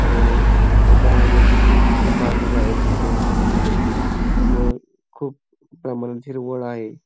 व त्या दरवाज्यातुन पाणी बाहेर सुटलेले दिसत आहे. व खूप प्रमाणात हिरवळ आहे.